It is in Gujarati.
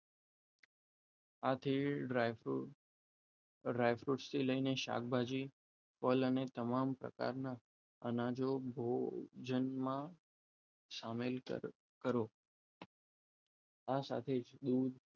આથી ડ્રાયફ્રુટ ડ્રાયફ્રુટ થી લઈને શાકભાજી ફળ અને તમામ પ્રકારના અનાજ જેમના સામેલ કરો આ સાથે જ દૂધ